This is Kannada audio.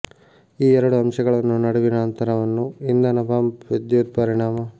ಈ ಎರಡು ಅಂಶಗಳನ್ನು ನಡುವಿನ ಅಂತರವನ್ನು ಇಂಧನ ಪಂಪ್ ವಿದ್ಯುತ್ ಪರಿಣಾಮ